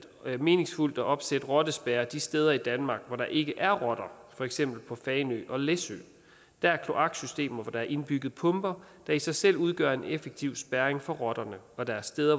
meningsfuldt at opsætte rottespærrer de steder i danmark hvor der ikke er rotter for eksempel på fanø og læsø der er kloaksystemer hvor der er indbygget pumper der i sig selv udgør en effektiv spærring for rotterne og der er steder